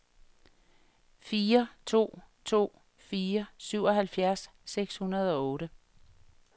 fire to to fire syvoghalvfjerds seks hundrede og otte